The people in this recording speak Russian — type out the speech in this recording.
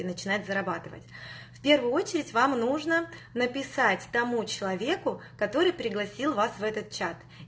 и начинает зарабатывать первую очередь вам нужно написать тому человеку который пригласил вас в этот чат